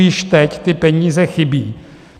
Již teď ty peníze chybí.